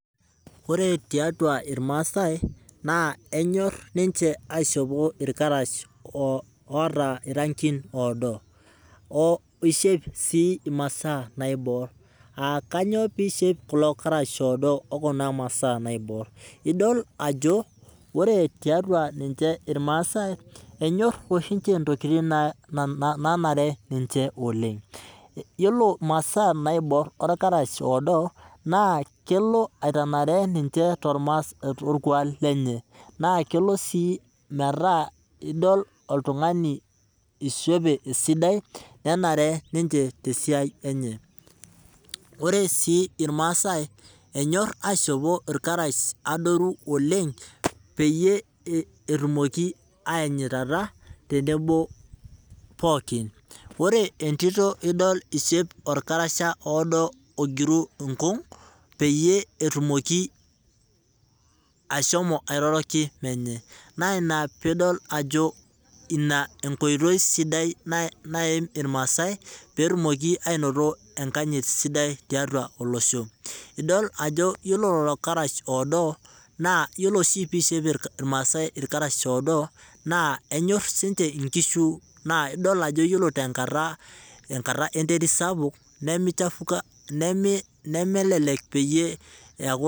Ore tiatua irmaasai, naa enyor niche aishopo irkarash oota irankin oodo. oishop sii masaa niabor ,aa kainyoo pee eishop kula karash oodo okuna masaa naibor? idol ajo ore tiatua ninche irmaasai enyor oshi ninche ntokiting naanare niche oleng, yiolo masaa naibor orkarash odo naa kelo aitanare niche torkuak lenche naa kelo sii metaa idol oltungani oishope esidai nanare niche tesiai enche ,ore sii irmaasai enyor aishopo irkarash adoru oleng peyie etumoki ayanyitata tenebo pookin ,ore entito idol eishopo orkarasha oodo ogiru inkung peyie etumoki ashomo airoroki menye ,na ina peyie idol ajo ina enkoitoi sidai naim irmaasai pee etumoki ainoto enkanyit sidai tiatua olosho .idol ajo yiolo lelo karash oodo, naa yiolo oshi pee eishop irmaasai irkarash oodo naa enyor siininche inkishu naa idol ajo ore tenkata enterit sapuk nemichafuka.